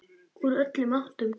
Úr öllum áttum.